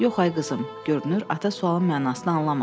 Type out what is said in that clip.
Yox, ay qızım, görünür ata sualın mənasını anlamadı.